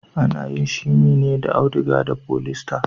Ana yin shimi ne da auduga da folista.